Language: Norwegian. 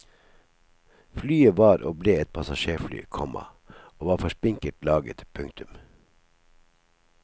Flyet var og ble et passasjerfly, komma og var for spinkelt laget. punktum